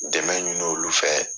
Dɛmɛ ɲini olu fɛ.